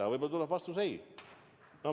Aga võib-olla tuleb vastus ei.